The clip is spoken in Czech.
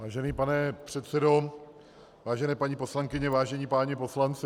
Vážený pane předsedo, vážené paní poslankyně, vážení páni poslanci.